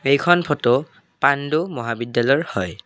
এইখন ফটো পাণ্ডু মহাবিদ্যালয়ৰ হয়।